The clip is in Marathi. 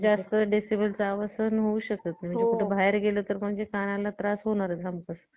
आणि ते त्याचे गाणे लई मला आवडले लईच लईच आवडले. मला एवढे आवडते का नाही की हार घरी घरी म मन लागतो की बघा ते movie